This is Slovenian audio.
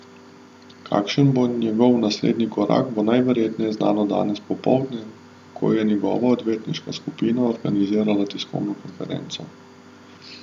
Kakšen bo njegov naslednji korak, bo najverjetneje znano danes popoldne, ko je njegova odvetniška skupina organizirala tiskovno konferenco.